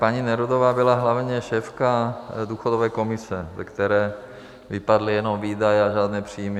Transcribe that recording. Paní Nerudová byla hlavně šéfka důchodové komise, ze které vypadly jenom výdaje a žádné příjmy.